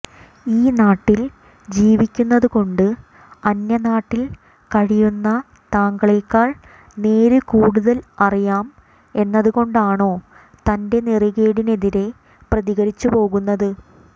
ഈ നാട്ടിൽ ജീവിക്കുന്നതുകൊണ്ട് അന്യനാട്ടിൽ കഴിയുന്ന താങ്കളെക്കാൾ നേര് കൂടുതൽ അറിയാം എന്നതുകൊണ്ടോണോ തന്റെ നെറികേടിനെതിരെ പ്രതികരിച്ചു പോകുന്നത്